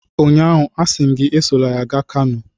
Ụnyaahụ, asị m gị, esola ya gaa Kano!